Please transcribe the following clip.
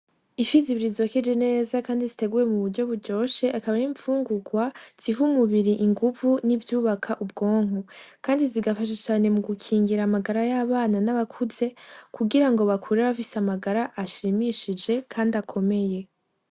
Ifi zibiri zokeje neza kandi ziteguwe mu buryo buryoshe, akaba ari imfungurwa zihari umubiri inguvu n'ivyubaka ubwonko, kandi zigafasha cane mu gukingira amagara y'abana n'abakuze, kugira ngo bakure bafise amagara ashimishije kandi akomeye.